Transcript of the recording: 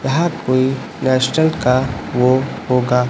यहां कोई रेस्टोरेंट का वह होगा--